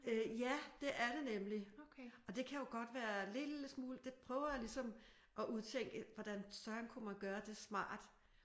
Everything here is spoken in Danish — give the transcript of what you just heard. Øh ja det er det nemlig. Og det kan jo godt være en lille smule det prøver jeg ligesom at udtænke hvordan søren kan man gøre det smart